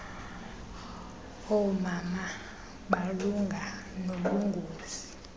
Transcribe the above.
oomama malunga nobungozi